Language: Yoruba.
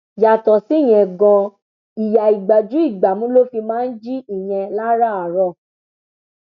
yàtọ síyẹn ganan ìyá ìgbájúìgbámú ló fi máa ń jí ìyẹn láràárọ